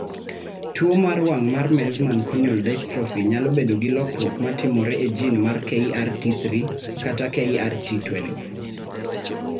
Tuo mar wang' mar Meesmann corneal dystrophy nyalo bedo gi lokruok ma timore e jin mar KRT3 kata KRT12.